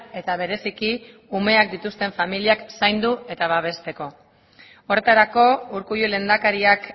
eta bereziki umeak dituzten familiak zaindu eta babesteko horretarako urkullu lehendakariak